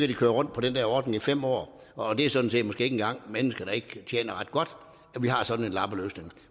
de køre rundt på den der ordning i fem år og det er sådan set måske ikke engang mennesker der ikke tjener ret godt vi har sådan en lappeløsning